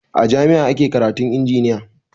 A jami'a ake karatun injiniya